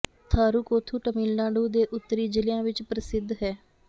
ਥਾਰੂ ਕੋਥੂ ਤਾਮਿਲਨਾਡੂ ਦੇ ਉੱਤਰੀ ਜ਼ਿਲ੍ਹਿਆਂ ਵਿੱਚ ਪ੍ਰਸਿੱਧ ਹੈ